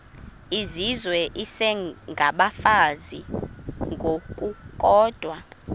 izizwe isengabafazi ngokukodwa